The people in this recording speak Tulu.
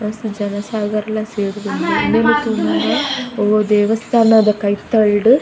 ಮಸ್ತ್ ಜನಸಾಗರಲ ಸೇರ್ದ್ಂಡ್ ಉಂದೆನ್ ತೂನಗ ಒವಾ ದೇವಸ್ಥಾನದ ಕೈತಲ್ಡ್.